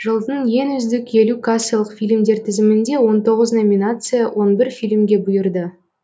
жылдың ең үздік елу кассалық фильмдер тізімінде он тоғыз номинация он бір фильмге бұйырды